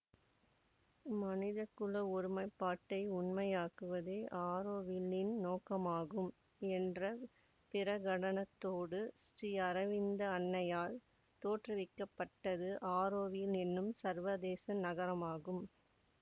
மனித குல ஒருமைப்பாட்டை உண்மையாக்குவதே ஆரோவில்லின் நோக்கமாகும் என்ற பிரகடனத்தோடு ஸ்ரீஅரவிந்த அன்னையால் தோற்றுவிக்க பட்டது ஆரோவில் என்னும் சர்வதேச நகரமாகும்